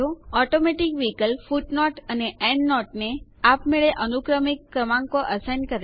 automatic વિકલ્પ ફૂટનોટો અથવા એન્ડનોટોને જે તમે દાખલ કરવા ઈચ્છો છો તેને આપમેળે અનુક્રમિક ક્રમાંકો અસાઇન સોપવું કરે છે